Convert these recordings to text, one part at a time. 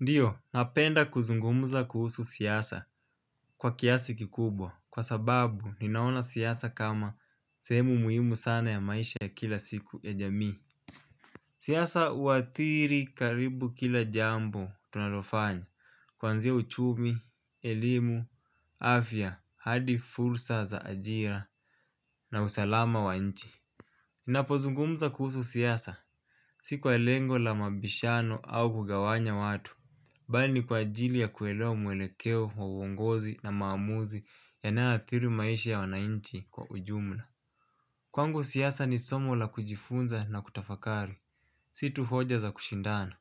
Ndiyo napenda kuzungumza kuhusu siasa kwa kiasi kikubwa kwa sababu ninaona siasa kama sehemu muhimu sana ya maisha ya kila siku ya jamii. Siasa uathiri karibu kila jambo tunalofanya kuanzia uchumi, elimu, afya, hadi fursa za ajira na usalama wa nchi. Ninapozungumza kuhusu siasa si kwa lengo la mabishano au kugawanya watu. Bali ni kwa ajili ya kuelewa mwelekeo wa uongozi na maamuzi yanayoathiri maisha ya wanainchi kwa ujumla. Kwangu siasa ni somo la kujifunza na kutafakari, si tu hoja za kushindana.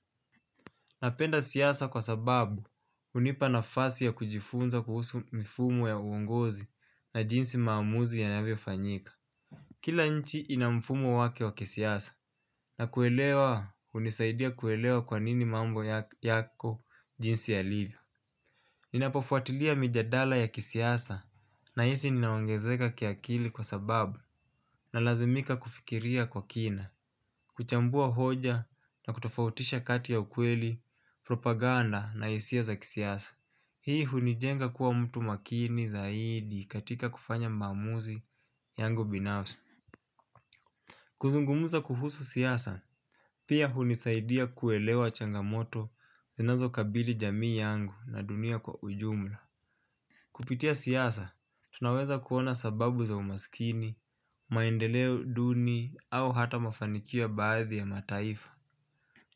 Napenda siasa kwa sababu hunipa nafasi ya kujifunza kuhusu mifumo ya uongozi na jinsi maamuzi yanavyofanyika. Kila nchi ina mfumo wake wake kisiasa na kuelewa hunisaidia kuelewa kwa nini mambo yake yako jinsi yalivyo. Ninapofuatilia mijadala ya kisiasa nahisi ninaongezeka kiakili kwa sababu nalazimika kufikiria kwa kina. Kuchambua hoja na kutofautisha kati ya ukweli, propaganda na hisia za kisiasa. Hii hunijenga kuwa mtu makini zaidi katika kufanya maamuzi yangu binafsi. Kuzungumza kuhusu siasa pia hunisaidia kuelewa changamoto zinazokabili jamii yangu na dunia kwa ujumla. Kupitia siasa, tunaweza kuona sababu za umasikini maendeleo duni au hata mafanikio ya baadhi ya mataifa.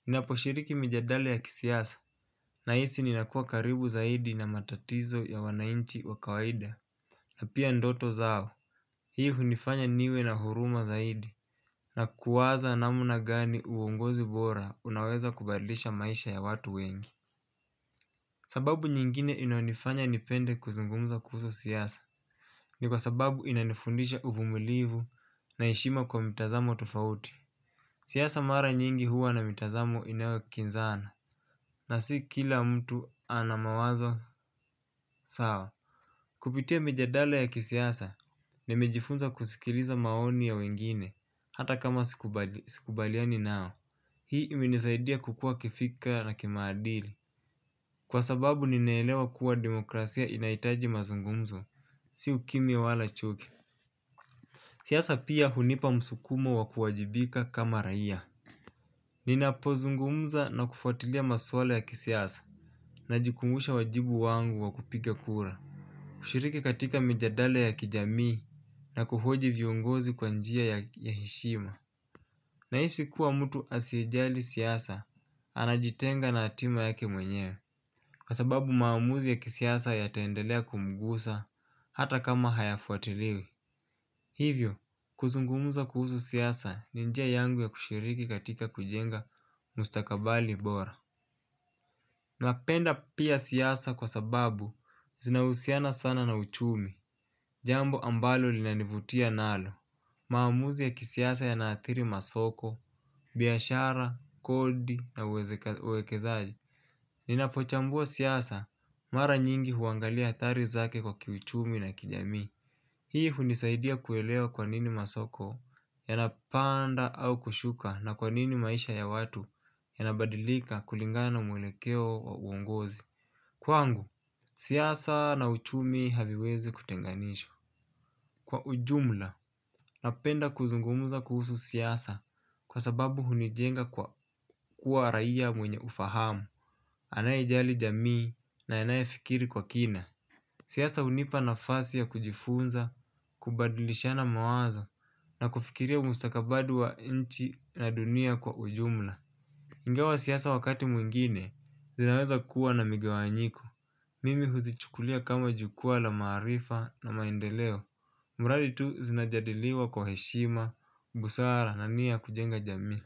Ninaposhiriki mijadala ya kisiasa, nahisi ninakua karibu zaidi na matatizo ya wanainchi wa kawaida. Na pia ndoto zao, hii hunifanya niwe na huruma zaidi, na kuwaza namuna gani uongozi bora unaweza kubadilisha maisha ya watu wengi. Sababu nyingine inayonifanya nipende kuzungumza kuhusu siasa. Ni kwa sababu inanifundisha uvumilivu na heshima kwa mtazamo tofauti. Siasa mara nyingi huwa na mitazamo inayokinzana na si kila mtu ana mawazo sawa. Kupitia mijadala ya kisiasa nimejifunza kusikiliza maoni ya wengine hata kama sikubali sikubaliani nao hii imenisaidia kukua kifikra na kimaadili kwa sababu ninaelewa kuwa demokrasia inahitaji mazungumzo. Si ukimya wala chuki. Siasa pia hunipa msukumo wa kuwajibika kama raia. Ninapozungumza na kufuatilia maswala ya kisiasa najikumbusha wajibu wangu wa kupiga kura. Kushiriki katika mijadala ya kijamii na kuhoji viongozi kwa njia ya ya heshima. Nahisi kuwa mtu asiyejali siasa, anajitenga na hatima yake mwenyewe. Kwa sababu maamuzi ya kisiasa yataendelea kumgusa hata kama hayafuatiliwi. Hivyo, kuzungumza kuhusu siasa ni njia yangu ya kushiriki katika kujenga mustakabali bora. Napenda pia siasa kwa sababu zinahusiana sana na uchumi. Jambo ambalo linanivutia nalo maamuzi ya kisiasa yanaathiri masoko, biashara, kodi na uwezeka uwekezaji. Ninapochambua siasa mara nyingi huangalia athari zake kwa kiuchumi na kijamii. Hii hunisaidia kuelewa kwa nini masoko yanapanda au kushuka na kwa nini maisha ya watu yanabadilika kulingana na mwelekeo wa uongozi. Kwangu, siasa na uchumi haviwezi kutenganishwa. Kwa ujumla, napenda kuzungumuza kuhusu siasa kwa sababu hunijenga kwa kuwa raia mwenye ufahamu. Anayejali jamii na anayefikiri kwa kina. Siasa hunipa nafasi ya kujifunza, kubadilishana mawazo na kufikiria umustakabali wa inchi na dunia kwa ujumla. Ingawa siasa wakati mwingine, zinaweza kuwa na migawanyiko. Mimi huzichukulia kama jukwaa la maarifa na maendeleo. Muradi tu zinajadiliwa kwa heshima, busara na nia ya kujenga jamii.